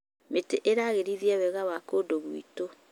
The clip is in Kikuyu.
Mĩtĩ ĩragĩrithia wega wa kũndũ gwitũ.